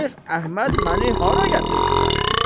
Şeyx Əhməd məni hara gətirmisən?